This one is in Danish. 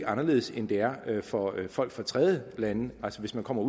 anderledes end det er for folk fra tredjelande altså hvis man kommer